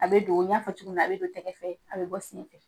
A bɛ do, n y'a fɔ cogo min na, a bɛ don tɛgɛ fɛ, a bɛ bɔ sen fɛ.